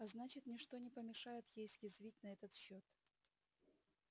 а значит ни что не помешает ей съязвить на этот счёт